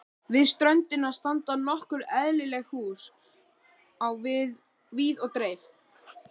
Við ströndina standa nokkur eyðileg hús á víð og dreif.